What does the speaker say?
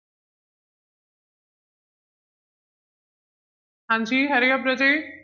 ਹਾਂਜੀ hurry up ਰਾਜੇ।